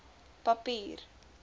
papier